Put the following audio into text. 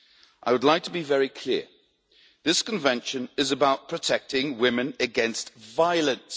I would like to be very clear this Convention is about protecting women against violence.